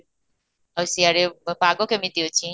ଆଉ ସେଆଡେ ପାଗ କେମିତି ଅଛି?